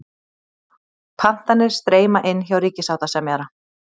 Pantanir streyma inn hjá ríkissáttasemjara